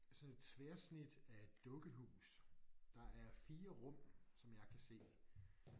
Sådan et tværsnit af et dukkehus. Der er 4 rum som jeg kan se